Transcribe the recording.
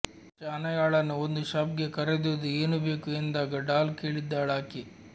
ಶನಾಯಾಳನ್ನು ಒಂದು ಶಾಪ್ಗೆ ಕರೆದೊಯ್ದು ಏನು ಬೇಕು ಎಂದಾಗ ಡಾಲ್ ಕೇಳಿದ್ದಳಾಕೆ